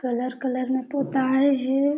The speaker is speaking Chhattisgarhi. कलर कलर में पोताए हे।